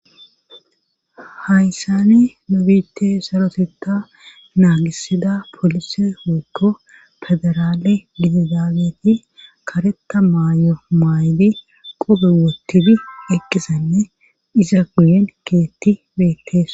Hayssani nobite soroteta naagisida polise wokko federaale bididaabeti kareta maayo maaydi qube wotidi eqkisanne iza guyen keetti beettes.